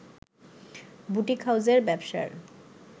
boutique হাউসের ব্যবসার